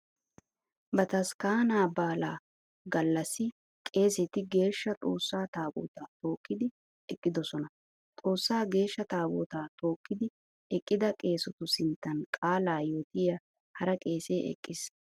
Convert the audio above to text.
Bataskkaanaa baalaa gallassi qeeseti Geeshsha Xoossaa taabootaa tookkidi eqqidosona. Xoossaa geeshsha taabootaa tookkidi eqqida qeesetu sinttan qaalaa yootiya hara qeesee eqqiis.